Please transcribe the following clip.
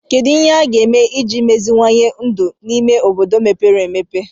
Kedu ihe a ga-eme iji meziwanye ndụ n'ime obodo mepere emepe